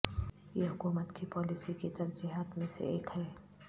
یہ حکومت کی پالیسی کی ترجیحات میں سے ایک ہے